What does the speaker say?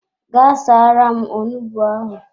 Gaa saara m onugbu ahụ!